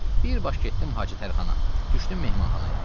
Bir baş getdim Hacı Tərxana, düşdüm mehmanxanaya.